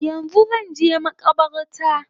Yanzu zanje makabarta